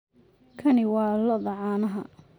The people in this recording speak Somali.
Kani waa lo'da caanaha.